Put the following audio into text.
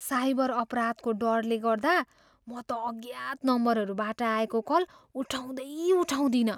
Cyber अपराधको डरले गर्दा म त अज्ञात नम्बरहरूबाट आएको कल उठाउँदै उठाउँदिनँ।